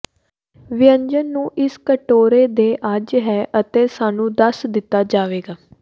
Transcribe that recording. ਵਿਅੰਜਨ ਨੂੰ ਇਸ ਕਟੋਰੇ ਦੇ ਅੱਜ ਹੈ ਅਤੇ ਸਾਨੂੰ ਦੱਸ ਦਿੱਤਾ ਜਾਵੇਗਾ